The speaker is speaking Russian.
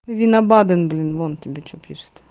вина баден-блин вон тебе что пишет